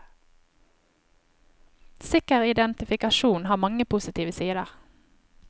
Sikker identifikasjon har mange positive sider.